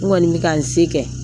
N kɔni bɛ ka n se kɛ